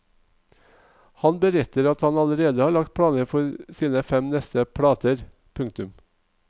Han beretter at han allerede har lagt planer for sine fem neste plater. punktum